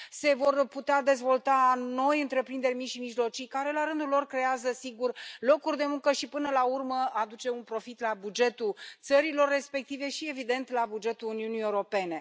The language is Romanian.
Se vor putea dezvolta noi întreprinderi mici și mijlocii care, la rândul lor, creează, sigur, locuri de muncă și, până la urmă, aduc un profit la bugetul țărilor respective și, evident, la bugetul Uniunii Europene.